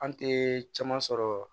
An tɛ caman sɔrɔ